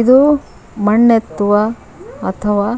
ಇದು ಮನ್ನೆತ್ತುವ ಅಥವಾ